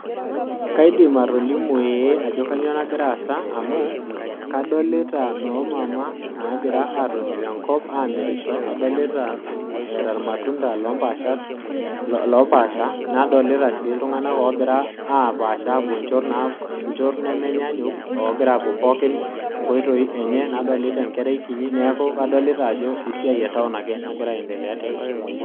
Kaidim atolimu ee ajo kainyioo nagira aasa, kadolita noo mama naagira aatoni tenkop, eeta ilmatunda lopaasha, nadolita sii iltunganak oogira apaasha apuo nchot, nemenyaanyuk, nadolita enkerai kinyi. neeku, kadolita Ajo esiai e taon ake nagira aendelea tene